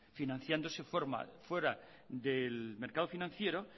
financiándose fuera del mercado financiero